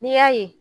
N'i y'a ye